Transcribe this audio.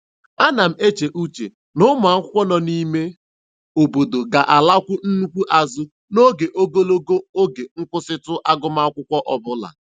Ana m eche uche na ụmụakwụkwọ nọ n'ime obodo ga-alakwu nnukwu azụ n'oge ogologo oge nkwụsịtụ agụmakwụkwọ ọbụla.